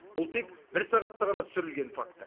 бұл тек бір сағатта ғана түсірілген факт